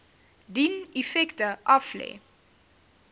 dien effekte aflê